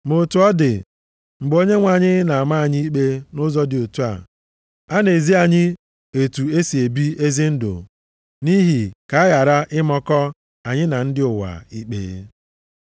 Ma otu ọ dị, mgbe Onyenwe anyị na-ama anyị ikpe nʼụzọ dị otu a, a na-ezi anyị otu e si ebi ezi ndụ nʼihi ka a ghara ịmakọ anyị na ndị ụwa ikpe.